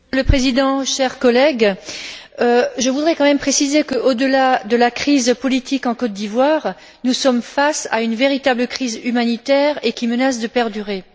Monsieur le Président, chers collègues, je voudrais quand même préciser qu'au delà de la crise politique en Côte d'Ivoire, nous sommes face à une véritable crise humanitaire qui menace de perdurer.